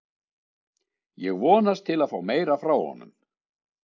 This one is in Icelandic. Ég vonast til að fá meira frá honum.